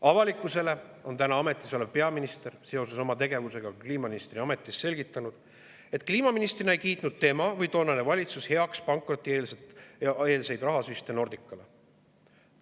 Avalikkusele on täna ametis olev peaminister seoses oma tegevusega kliimaministri ametis selgitanud, et kliimaministrina ei kiitnud tema või toonane valitsus heaks pankrotieelseid rahasüste Nordicale.